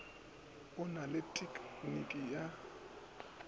o na le tekniki ya